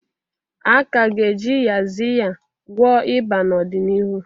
A ka ga-eji yaxiya gwọọ ịba n'ọdịniihu.